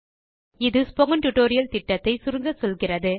அது spoken tutorial திட்டத்தை சுருங்கச்சொல்கிறது